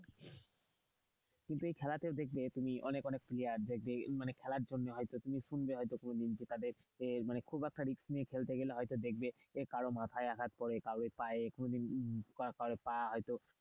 কিন্তু এই খেলাতেও দেখবে তুমি অনেক অনেক player দেখবে মানে খেলার জন্য হয়তো তুমি শুনবে হয়তো কোনোদিন খুব একটা risk নিয়ে খেলতে গেলে হয়তো দেখবে কারো মাথায় আঘাত পড়ে, কারোর পায়ে, কোনোদিন কারো পা হয়তো,